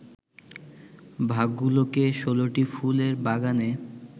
ভাগগুলোকে ১৬টি ফুলের বাগানে